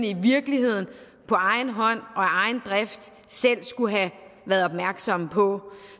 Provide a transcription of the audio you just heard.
i virkeligheden på egen hånd og af egen drift selv skulle have været opmærksomme på